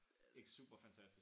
Ikke super fantastisk